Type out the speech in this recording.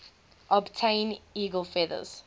obtain eagle feathers